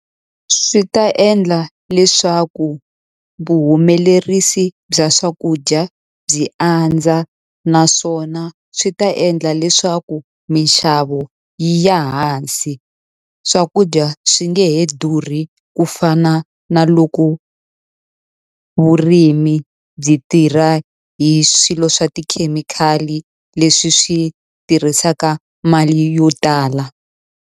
Swi ta endla leswaku vuhumelerisi bya swakudya byi andza, naswona swi ta endla leswaku mixavo yi ya hansi. Swakudya swi nge he durhi ku fana na loko vurimi byi tirha hi swilo swa tikhemikhali, leswi swi tirhisaka mali yo tala.